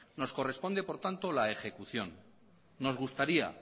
nos corresponde por tanto la ejecución nos gustaría